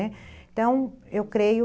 Então, eu creio...